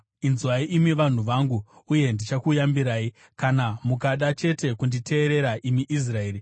“Inzwai, imi vanhu vangu, uye ndichakuyambirai, kana mukada chete kunditeerera, imi Israeri!